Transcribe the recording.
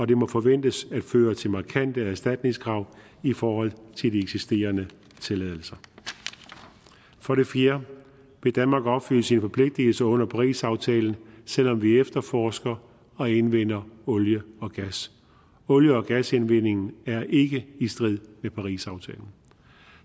det må forventes at føre til markante erstatningskrav i forhold til de eksisterende tilladelser for det fjerde vil danmark opfylde sine forpligtelser under parisaftalen selv om vi efterforsker og indvinder olie og gas olie og gasindvindingen er ikke i strid med parisaftalen